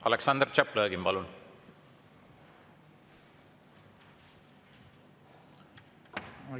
Aleksandr Tšaplõgin, palun!